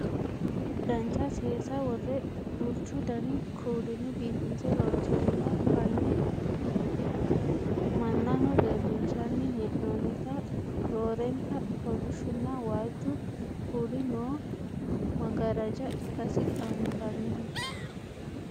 dancha seesa worre duuchu dani kuulinni biifinse loonsonniwa fanne mannaho leellinshanni hee'noonnita roorenka kolishshunna waajju kuuli noo maggaraaja ikkasi anfanniho